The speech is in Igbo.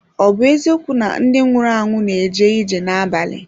Ọ̀ bụ eziokwu na ndị nwụrụ anwụ na-eje ije n’abalị?